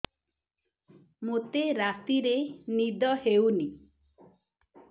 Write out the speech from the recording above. ମୋତେ ରାତିରେ ନିଦ ହେଉନି